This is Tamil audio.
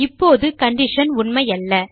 இப்போது கண்டிஷன் உண்மையல்ல